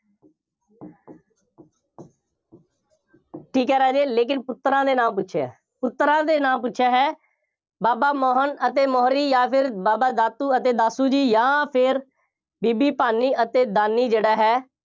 ਠੀਕ ਹੈ ਰਾਜੇ ਲੇਕਿਨ ਪੁੱਤਰਾਂ ਦੇ ਨਾਮ ਪੁੱਛਿਆ। ਪੁੱਤਰਾਂ ਦੇ ਨਾਮ ਪੁੱਛਿਆ ਹੈ। ਬਾਬਾ ਮੋਹਨ ਅਤੇ ਮੋਹਰੀ ਜਾਂ ਫਿਰ ਬਾਬਾ ਦਾਤੂ ਅਤੇ ਦਾਸੂ ਜੀ ਜਾਂ ਫਿਰ ਬੀਬੀ ਭਾਨੀ ਅਤੇ ਦਾਨੀ ਜਿਹੜਾ ਹੈ,